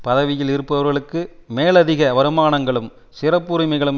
பதவியில் இருப்பவர்களுக்கு மேலதிக வருமானங்களும் சிறப்புரிமைகளும்